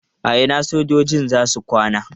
A ina sojojin za su kwana?